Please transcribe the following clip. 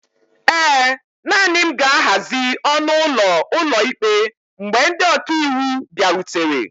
ee, naanị m ga-ahazi ọnụ ụlọ ụlọikpe mgbe ndị ọka iwu bịarutere